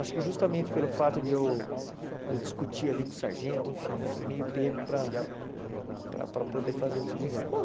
Acho que justamente pelo fato de eu de eu discutir ali com o sargento, enfim, eu fui meio pego para para para poder fazer o tio de guerra. Bom